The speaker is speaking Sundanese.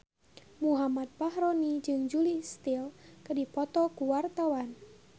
Muhammad Fachroni jeung Julia Stiles keur dipoto ku wartawan